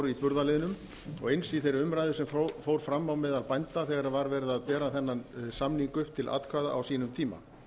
í burðarliðnum og eins í þeirri umræðu sem fór fram meðal bænda þegar var verið að bera þennan samning upp til atkvæða á sínum tíma